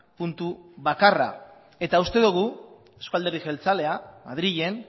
puntu bakarra eta uste dugu euzko alderdi jeltzalea madrilen